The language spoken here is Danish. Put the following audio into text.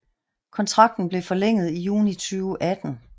Kontrakten blev forlænget i juni 2018